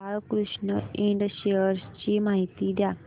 Balkrishna Ind shares ची माहिती द्या